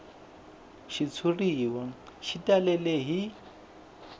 xitshuriwa xi talele hi